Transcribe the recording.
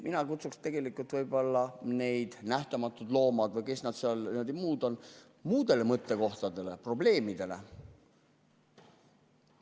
Mina kutsuksin neid ühinguid, Nähtamatud Loomad ja kes nad kõik on, ka muudele probleemidele mõtlema.